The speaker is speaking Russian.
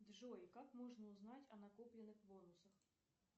джой как можно узнать о накопленных бонусах